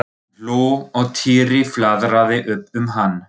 Hann hló og Týri flaðraði upp um hann.